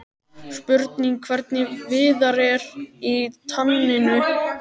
Spurning hvernig Viðar er í taninu?